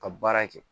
Ka baara kɛ